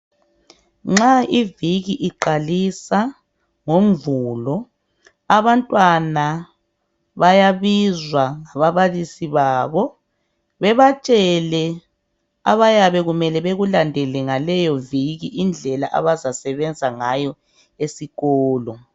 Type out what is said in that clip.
Nxa iviki iqalisa ngoMvulo, abantwana bayabizwa ngababalisi babo. Bebatshele abayabe kumele bakulandele, ngaleyoviki, indlela abazasebenza ngayo esikolo,